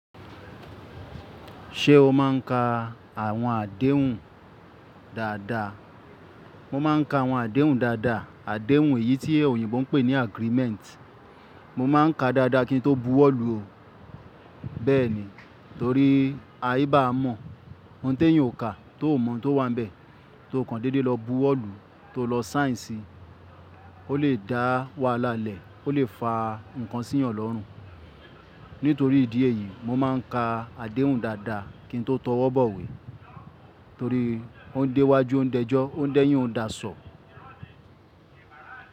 Ṣé o má ń ka àwọn àdéhùn dáadáa? Mo má ń ka àwọn àdéhùn dáadáa. Àdéhùn èyí tí òyìnbó ń pè ní agreement. Mo má ń ka dáadáa kí n tó bu wọ́lù o. Bẹ́ẹ̀ni, torí a ìbá mọ̀. Òun tẹ́yan ò ka, tó ò mọ̀ tó wà níbẹ̀. Tó kan dédé lọ bu wọ́lù tó lọ sign sì, ó lè dá wahalá lẹ̀, ó lè fa ǹkan sí eeyàn lọ́rùn. Nítorí ìdí èyí, mo má ń ka àdéhùn dáadáa kí n tó tọwọ́ bọ̀wé. Torí ó ń dé iwájú, ó ń dẹ́jọ́, ó ń dẹ́yìn, ó ń da sọ.